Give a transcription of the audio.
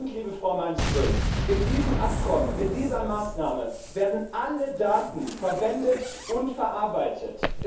Liebe Frau Malmström, in diesem Abkommen, mit dieser Maßnahme werden alle Daten verwendet und verarbeitet.